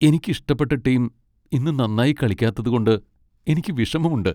എനിക്ക് ഇഷ്ടപ്പെട്ട ടീം ഇന്ന് നന്നായി കളിക്കാത്തതുകൊണ്ട് എനിക്ക് വിഷമമുണ്ട്.